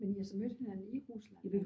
Men I har så mødt hinanden i Rusland?